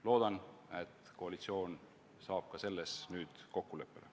Loodan, et koalitsioon jõuab ka selles nüüd kokkuleppele.